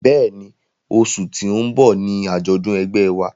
Bẹ́ẹ̀ni, oṣù tí ó ń bọ̀ ni àjọ̀dún ẹgbẹ́ wa